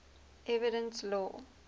evidence law